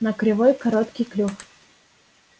на кривой короткий клюв